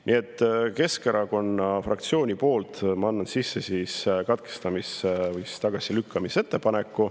Ma annan Keskerakonna fraktsiooni poolt sisse katkestamise või tagasilükkamise ettepaneku.